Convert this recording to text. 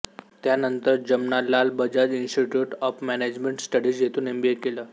त्यानंतर Jamnalal Bajaj institute of management studies येथून MBA केल